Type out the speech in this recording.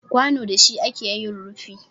Kwano da shi ake yin rufi